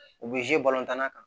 U bɛ tanna kan